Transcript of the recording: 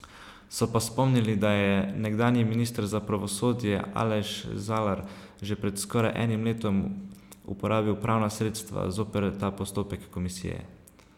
So pa spomnili, da je nekdanji minister za pravosodje Aleš Zalar že pred skoraj enim letom uporabil pravna sredstva zoper ta postopek komisije.